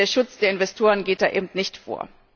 Und der Schutz der Investoren geht da eben nicht vor.